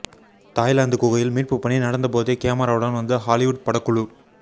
Thailand குகையில் மீட்பு பணி நடந்தபோதே கேமராவுடன் வந்த ஹாலிவுட் படக்குழு